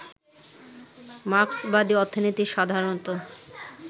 মার্ক্সবাদী অর্থনীতি সাধারণত